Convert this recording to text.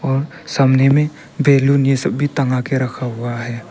और सामने में ये सब टंगा के रखा हुआ है।